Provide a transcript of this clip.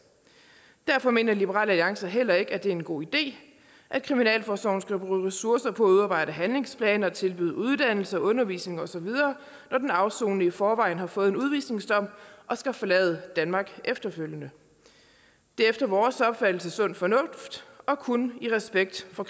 derfor mener liberal alliance heller ikke at det er en god idé at kriminalforsorgen skal bruge ressourcer på at udarbejde handlingsplaner og tilbyde uddannelse og undervisning osv når den afsonende i forvejen har fået en udvisningsdom og skal forlade danmark efterfølgende det er efter vores opfattelse sund fornuft og kun i respekt for